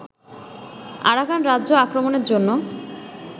Arakan রাজ্য আক্রমণের জন্য